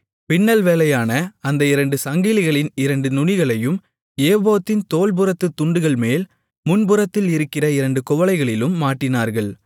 பின்னல் வேலையான அந்த இரண்டு சங்கிலிகளின் இரண்டு நுனிகளையும் ஏபோத்தின் தோள்புறத்துத் துண்டுகள்மேல் முன்புறத்தில் இருக்கிற இரண்டு குவளைகளிலும் மாட்டினார்கள்